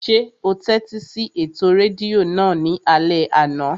Ṣé o tẹ́tí sí ètò rédíò náà ní alẹ́ àná?